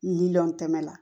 Miliyɔn kɛmɛ la